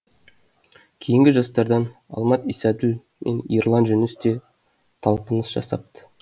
кейінгі жастардан алмат исаділ мен ерлан жүніс те талпыныс жасапты